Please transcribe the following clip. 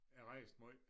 Jeg rejste måj